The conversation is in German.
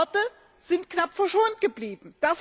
Manche Orte sind knapp verschont geblieben.